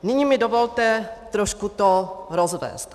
Nyní mi dovolte trošku to rozvést.